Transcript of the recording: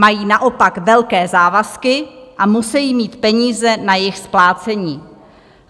Mají naopak velké závazky a musejí mít peníze na jejich splácení.